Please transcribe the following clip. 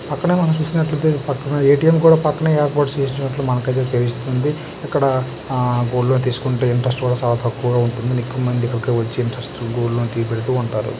అక్కడ మనం చూస్కున్నట్లయితే పక్కన ఎ_టి_యం కూడా పక్కన ఏర్పాటు చేసినట్లు మనకైతే తెలుస్తుంది. ఇక్కడ ఆ గోల్డ్ లోన్ తీస్కుంటే ఇంట్రస్ట్ కూడా చాల తక్కువగా ఉంటుందని ఎక్కువమంది ఇక్కడికి వచ్చి ఇంట్రెస్ట్కి గోల్డ్ లోన్ పెడుతూ ఉంటారు.